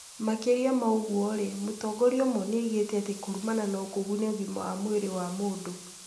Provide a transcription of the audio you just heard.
Makĩria ma ũguo-rĩ, mũtongoria ũmwe nĩ oigĩte atĩ kũrumana no kũgune ũgima wa mwĩrĩ wa mũndũ .